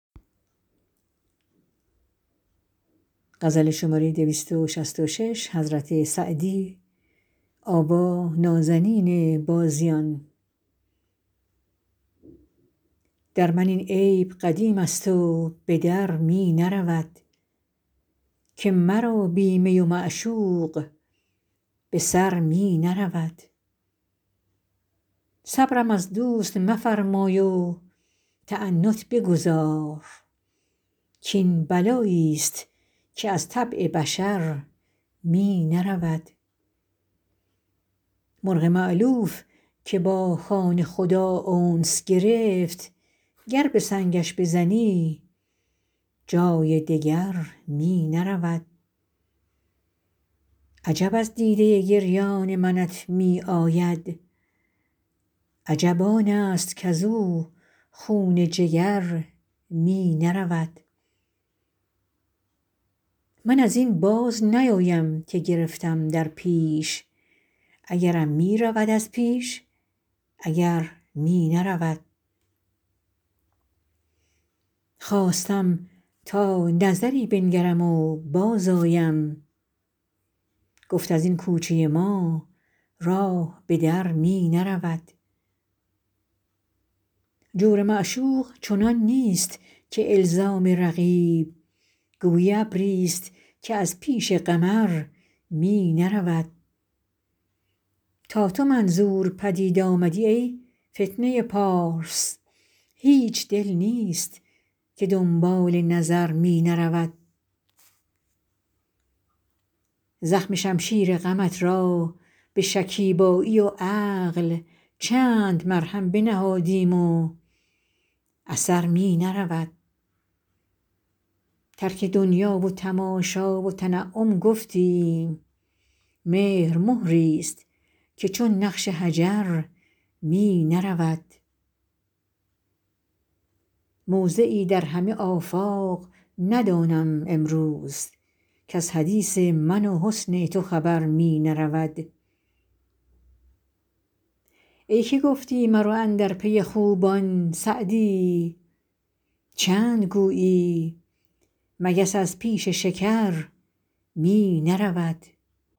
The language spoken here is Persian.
در من این عیب قدیم است و به در می نرود که مرا بی می و معشوق به سر می نرود صبرم از دوست مفرمای و تعنت بگذار کاین بلایی ست که از طبع بشر می نرود مرغ مألوف که با خانه خدا انس گرفت گر به سنگش بزنی جای دگر می نرود عجب از دیده گریان منت می آید عجب آن است کز او خون جگر می نرود من از این باز نیایم که گرفتم در پیش اگرم می رود از پیش اگر می نرود خواستم تا نظری بنگرم و بازآیم گفت از این کوچه ما راه به در می نرود جور معشوق چنان نیست که الزام رقیب گویی ابری ست که از پیش قمر می نرود تا تو منظور پدید آمدی ای فتنه پارس هیچ دل نیست که دنبال نظر می نرود زخم شمشیر غمت را به شکیبایی و عقل چند مرهم بنهادیم و اثر می نرود ترک دنیا و تماشا و تنعم گفتیم مهر مهری ست که چون نقش حجر می نرود موضعی در همه آفاق ندانم امروز کز حدیث من و حسن تو خبر می نرود ای که گفتی مرو اندر پی خوبان سعدی چند گویی مگس از پیش شکر می نرود